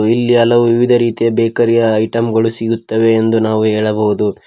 ಇಲ್ಲಿ ಹಲವು ವಿವಿಧ ರೀತಿಯ ಬೇಕರಿಯ ಐಟಮ್ಗಳು ಸಿಗುತ್ತವೆ ಎಂದು ನಾವು ಹೇಳಬಹುದು.